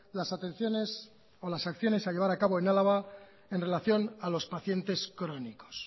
las atenciones o las acciones a llevar a cabo en álava en relación a los pacientes crónicos